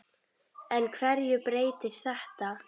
En hverju breytir þetta?